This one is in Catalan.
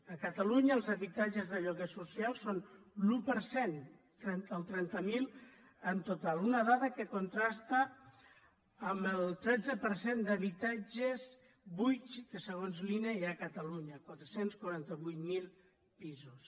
a catalunya els habitatges de lloguer social són l’un per cent trenta mil en total una dada que contrasta amb el tretze per cent d’habitatges buits que segons l’ine hi ha a catalunya quatre cents i quaranta vuit mil pisos